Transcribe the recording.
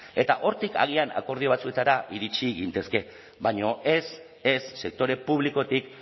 eta hortik agian akordio batzuetara iritsi gintezke baina ez ez sektore publikotik